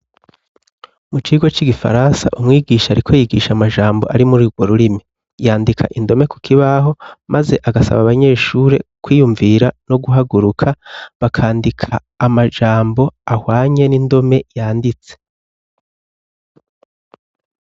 Mu kigo c'igifaransa ,umwigisha ari ko yigisha amajambo ari muri rwo rurimi ,yandika indome ku kibaho maze agasaba abanyeshuri kwiyumvira no guhaguruka bakandika amajambo ahwanye n'indome yanditse.